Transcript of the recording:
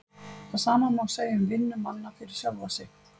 Það sama má segja um vinnu manna fyrir sjálfa sig.